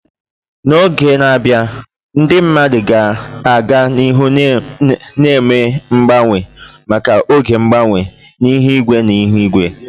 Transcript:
N'oge na-abịa, ndị mmadụ ga-aga n'ihu na-eme mgbanwe maka oge mgbanwe, ihu igwe na ihu igwe.